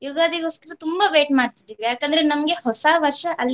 ಯುಗಾದಿಗೊಸ್ಕರ ತುಂಬ wait ಮಾಡ್ತಿದ್ದೇವೆ ಯಾಕೆಂದ್ರೆ ನಮ್ಗೆ ಹೊಸವರ್ಷ ಅಲ್ಲಿಂದ.